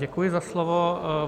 Děkuji za slovo.